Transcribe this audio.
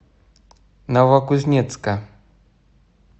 новокузнецка